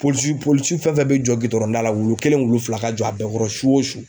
Polisi polisi fɛn fɛn bɛ jɔ gidɔrɔnda la wulu kelen wulu fila ka jɔ a bɛɛ kɔrɔ su o su.